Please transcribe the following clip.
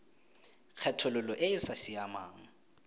kgethololo e e sa siamang